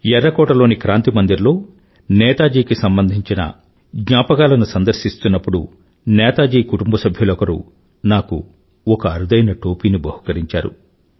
ఎర్రకోటలోని క్రాంతి మందిర్ లో నేతాజీ కి సంబంధించిన జ్ఞాపకాలను సందర్శిస్తున్నప్పుడు నేతాజీ కుటుంబసభ్యులొకరు నాకు ఒక అరుదైన టోపీని బహుకరించారు